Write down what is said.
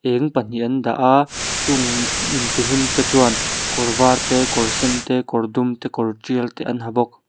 in pahnih an dah a chung mm intihlim te chuan kawr var te kawr sen te kawr dum te kawr tial te an ha bawk.